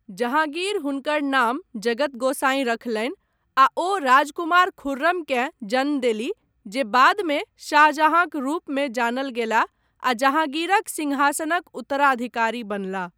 जहाँगीर हुनकर नाम जगत गोसाईं रखलनि आ ओ राजकुमार खुर्रमकेँ जन्म देलीह जे बादमे शाहजहाँक रूपमे जानल गेलाह आ जहाँगीरक सिंहासनक उत्तराधिकारी बनलाह।